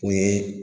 O ye